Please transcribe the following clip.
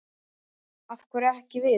Af hverju ekki við?